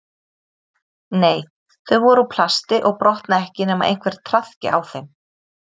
Nei, þau voru úr plasti og brotna ekki nema einhver traðki á þeim